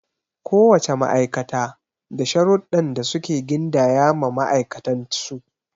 Ko wace ma'aikata da sharuɗdɗan da suke gindaya ma ma'aikatan su.